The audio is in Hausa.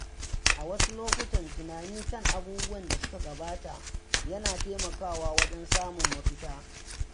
A wasu lokuta, tunani kan abubuwan da suka gabata yana taimakawa wajen samun mafita.